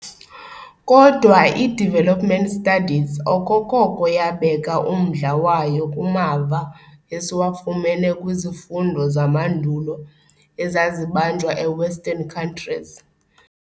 Kodwa i-development studies okokoko yabeka umdla wayo kumava esiwafumene kwizifundo zamandulo ezazibanjwa e-Western countries.